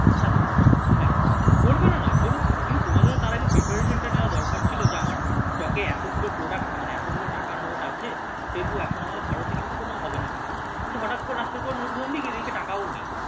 হ্যাঁ তো হ্যাঁ করবে না নাকি করুক কিন্তু তোমাকে তো তার আগে preparation টা নেওয়া দরকার যে আমার চকে এতগুলো product মানে এতগুলো টাকার নোট আছে সেহেতু এখন আমাদের ভারতে কিন্তু কোন হবেনা কিছু কিন্তু হঠাৎ কিন্তু হঠাৎ করে রাত্রির পর নোটবন্দি এদিকে টাকাও নেই